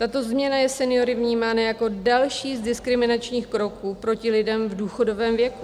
Tato změna je seniory vnímána jako další z diskriminačních kroků proti lidem v důchodovém věku.